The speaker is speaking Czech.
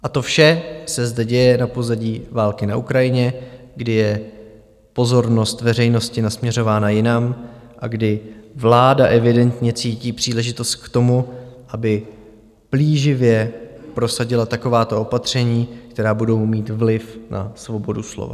A to vše se zde děje na pozadí války na Ukrajině, kdy je pozornost veřejnosti nasměřována jinam a kdy vláda evidentně cítí příležitost k tomu, aby plíživě prosadila takováto opatření, která budou mít vliv na svobodu slova.